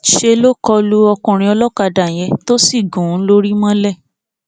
ńṣe ló kọ lu ọkùnrin olókàdá yẹn tó sì gún un lórí mọlẹ